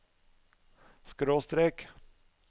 skråstrek